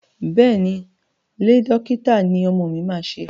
Bẹ́ẹ̀ ni, Iẹ́ dókítà ní ọmọ mi máa ṣe.